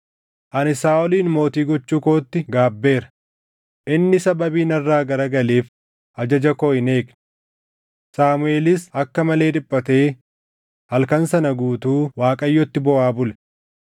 “Ani Saaʼolin mootii gochuu kootti gaabbeera; inni sababii narraa garagaleef ajaja koo hin eegne.” Saamuʼeelis akka malee dhiphatee halkan sana guutuu Waaqayyotti booʼaa bule.